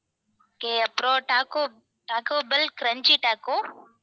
okay அப்பறம் taco taco bell crunchy taco